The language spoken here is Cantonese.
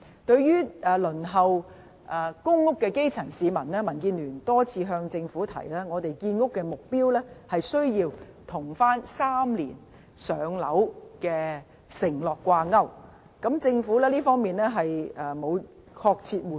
對於輪候公屋的基層市民，民建聯多次向政府提出建屋目標必須跟 "3 年上樓"的承諾掛鈎，但政府一直沒有作出明確回應。